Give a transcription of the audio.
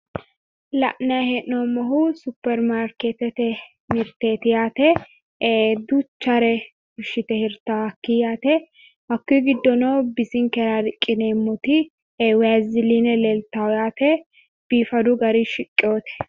la'nanni heenoommohu superimaarkeetete mirteeti yaate. ee duuchare fushshite hirta hakkii yaate. hakkuyi giddono bisinkera riqqineemmoti vasiliine leelta yaate biifadu garinni shiqqinote.